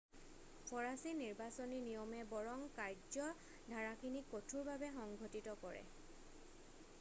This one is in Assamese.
ফৰাছী নিৰ্বাচনী নিয়মে বৰং কাৰ্য্যধাৰাখিনিক কঠোৰভাৱে সংঘটিত কৰে